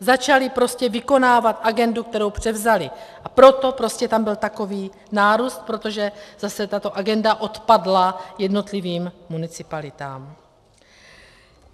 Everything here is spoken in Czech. Začali prostě vykonávat agendu, kterou převzali, a proto prostě tam byl takový nárůst, protože zase tato agenda odpadla jednotlivým municipalitám.